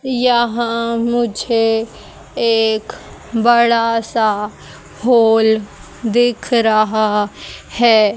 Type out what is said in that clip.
यहां मुझे एक बड़ा सा हॉल दिख रहा है।